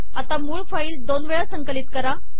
आता मूळ फाईल दोन वेळा संकलित करा